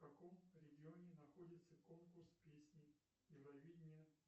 в каком регионе находится конкурс песни евровидение